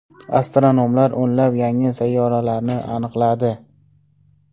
Astronomlar o‘nlab yangi sayyoralarni aniqladi.